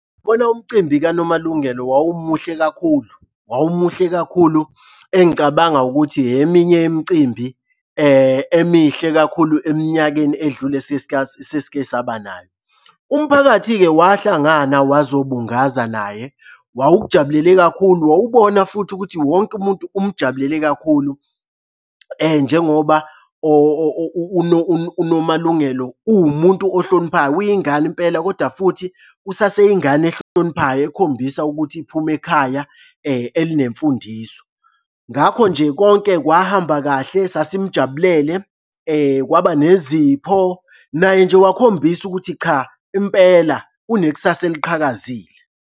Bona umcimbi kaNomalungelo wawumuhle kakhulu, wawumuhle kakhulu engicabanga ukuthi eminye imicimbi emihle kakhulu eminyakeni edlule esesikesaba nayo. Umphakathi-ke wahlangana wazobungaza naye. Wawukujabulele kakhulu, wawubona futhi ukuthi wonke umuntu umujabulele kakhulu njengoba uNomalungelo uwumuntu ohloniphayo, uyingane impela koda futhi usaseyingane ehloniphayo ekhombisa ukuthi iphuma ekhaya elinemfundiso. Ngakho nje konke kwahamba kahle sasimujabulele kwaba nezipho naye nje wakhombisa ukuthi cha impela unekusasa eliqhakazile.